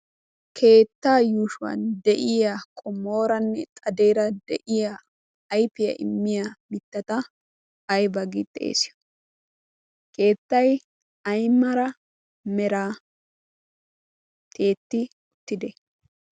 keettaa yuushuwan de'iya qomooranne xadeera de'iya aifiyaa immiya mittata aybay keettay aymala mera tiyetti uttidee?